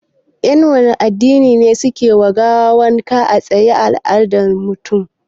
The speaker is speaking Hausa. Yan wanne addini ne suke wa gawa wanka a matsayin al'ada ta mutuwa?